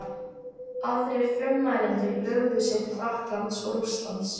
Aðrir frummælendur brugðu sér til Frakklands og Rússlands.